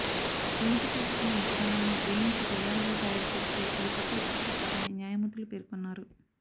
దిగుమతి చేసుకున్న మొక్కజొన్నలను వేయించి పేలాలుగా తయారు చేస్తే అది కొత్త ఉత్పత్తి కాదని న్యాయమూర్తులు పేర్కొన్నారు